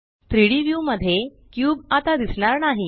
3डी व्यू मध्ये क्यूब आता दिसणार नाही